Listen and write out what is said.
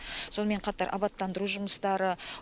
сонымен қатар абаттандыру жұмыстары